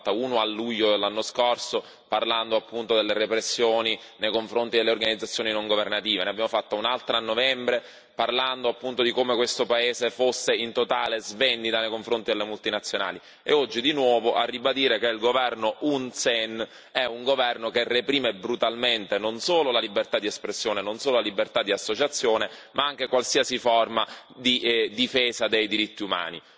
Ne abbiamo fatta una a luglio dell'anno scorso, parlando appunto delle repressioni nei confronti delle organizzazioni non governative, ne abbiamo fatta un'altra a novembre, parlando appunto di come questo paese fosse in totale svendita nei confronti delle multinazionali, e oggi di nuovo a ribadire che il governo Hun Sen è un governo che reprime brutalmente non solo la libertà di espressione, non solo la libertà di associazione, ma anche qualsiasi forma di difesa dei diritti umani.